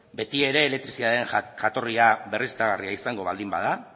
beti ere elektrizitatearen jatorria berriztagarria izango baldin bada